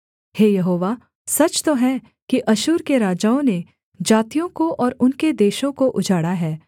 हे यहोवा सच तो है कि अश्शूर के राजाओं ने जातियों को और उनके देशों को उजाड़ा है